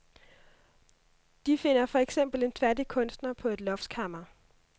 De finder for eksempel en fattig kunstner på et loftskammer.